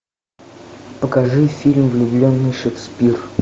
покажи фильм влюбленный шекспир